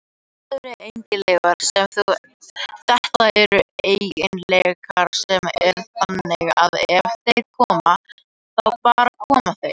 Þetta eru eiginleikar sem eru þannig að ef þeir koma, þá bara koma þeir.